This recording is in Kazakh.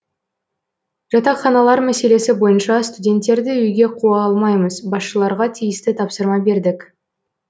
жатақханалар мәселесі бойынша студенттерді үйге қуа алмаймыз басшыларға тиісті тапсырма бердік